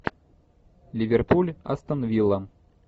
ливерпуль астон вилла